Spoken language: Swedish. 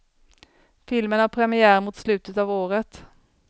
Filmen har premiär mot slutet av året.